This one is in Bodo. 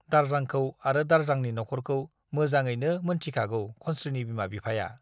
दारजांखौ आरो दारजांनि न'ख'रखौ मोजाङैनो मोनथिखागौ खनस्रीनि बिमा बिफाया ।